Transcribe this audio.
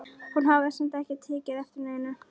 Hún hafði samt ekki tekið eftir neinu.